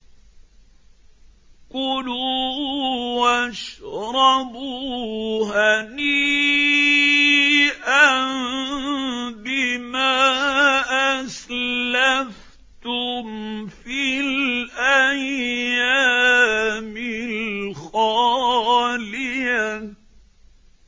كُلُوا وَاشْرَبُوا هَنِيئًا بِمَا أَسْلَفْتُمْ فِي الْأَيَّامِ الْخَالِيَةِ